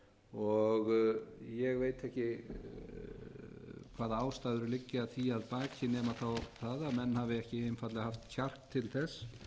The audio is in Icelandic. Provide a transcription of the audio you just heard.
um ég veit ekki hvaða ástæður liggja því að baki nema þá það að menn hafi ekki einfaldlega haft kjark til þess